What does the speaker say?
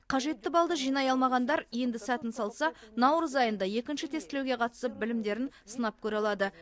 қажетті балды жинай алмағандар енді сәтін салса наурыз айында екінші тестілеуге қатысып білімдерін сынап көре алады